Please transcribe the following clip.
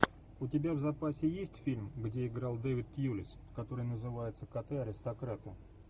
у тебя в запасе есть фильм где играл дэвид тьюлис который называется коты аристократы